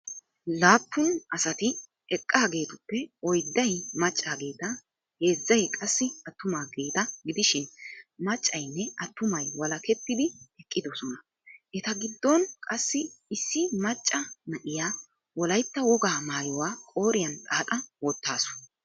Laapun asati eqqaageetuppe oydday maccaageeta heezzay qassi atumaageeti gidishin maccaynne attumay walakettidi eqqidosona. Eta giddon qassi issi maca na"iyaa wolayitta wogaa maayuwa qooriya xaaxa wottaasu.